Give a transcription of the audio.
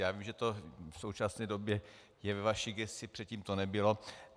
Já vím, že to v současné době je ve vaší gesci, předtím to nebylo.